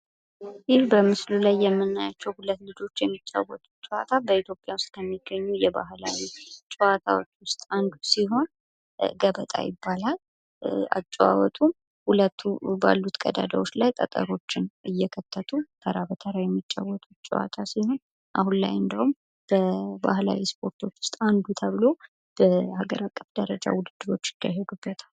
ይህ በምስሉ ል የምናያቸው ልጆች የሚጫወቱት ጨዋታ በኢትዮጵያ ውስጥ ከሚገኙ የባህላዊ ጨዋታዎች ውስጥ አንዱ ሲሆን ገበጣ ይባላል። አጨዋወቱም ሁለቱ ባሉት ቀዳዳዎች ላይ ጠጠሮችን እየከተቱ ተራ በተራ የሚጫወቱት ጨዋታ ሲሆን አሁን ላይ እንደውም በባህላዊ ስፖርቶች በሀገር አቀፍ ደረጃ ውድድሮች ይካሄዱበታል።